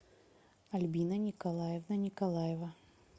альбина николаевна николаева